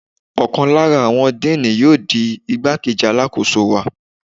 Ọ̀kan lára àwọn Díínì yóò di igbá-kejì Alákóso wa.